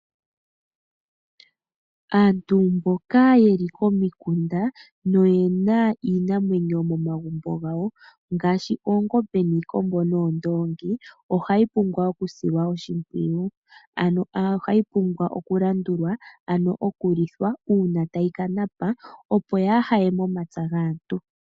Aantu mboka ye li komikunda, no yena iinamwenyo momagumbo gawo, ngaashi oongombe niikombo noondoongi, oha yi pumbwa oku silwa oshimpwiyu. Ano ohayi pumbwa oku landulwa, ano oku lithwa una tayi ka napa, opo yaa haye momapya gaantu.